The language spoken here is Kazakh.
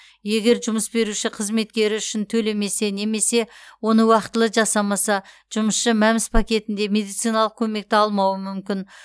егер жұмыс беруші қызметкері үшін төлемесе немесе оны уақытылы жасамаса жұмысшы мәмс пакетінде медициналық көмекті алмауы мүмкін